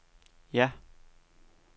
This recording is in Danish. ja